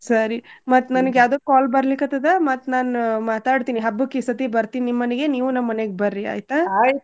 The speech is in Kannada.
ಸರಿ ಮತ್ ನನ್ಗ್ ಯಾವ್ದೋ call ಬರ್ಲಿಕತ್ತದ ಮತ್ ನಾನ್ ಮಾತಾಡ್ತೀನಿ ಹಬ್ಬಕ್ ಈ ಸರ್ತಿ ಬರ್ತೀನ್ ನಿಮ್ ಮನಿಗ್ ನೀವು ನಮ್ ಮನಿಗ್ ಬರ್ರಿ ಆಯ್ತಾ.